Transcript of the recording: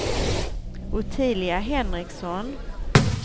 Ottilia Henriksson